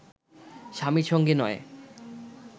স্বামীর সঙ্গে নয়